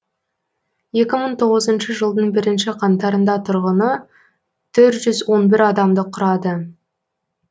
екі мың тоғызыншы жылдың бірінші қаңтарында тұрғыны төрт жүз он бір адамды құрады